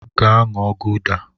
Gaa ṅụọ gụda!